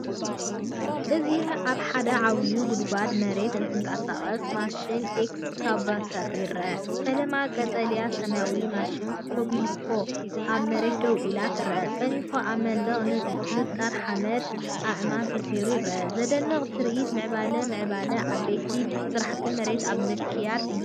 እዚ ኣብ ሓደ ዓብዪ ጉድጓድ መሬት እትንቀሳቐስ ማሽንኤክስካቫተር ይርአ። ፈለማ ቀጠልያን ሰማያውን ማሽን ኮቤልኮ ኣብ መሬት ደው ኢላ ትረአ። ጸኒሑ ኣብ መንደቕ ንጣር ሓመድን ኣእማንን ተሰሪዑ ይረአ። ዘደንቕ ትርኢት ምዕባለን ምዕባለን፡ ዓበይቲ ስራሕቲ መሬት ኣብ ምክያድ እዩ።